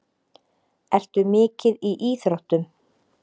Ertu mikið í íþróttum?